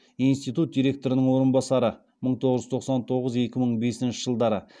институт директорының орынбасары